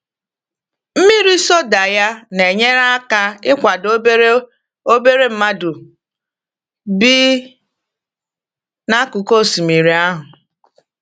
Mmiri soda ya na-enyere aka ịkwado obere obere mmadụ bi n’akụkụ osimiri ahụ.